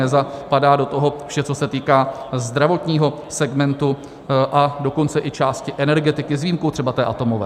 Nezapadá do toho vše, co se týká zdravotního segmentu, a dokonce i části energetiky s výjimkou třeba té atomové.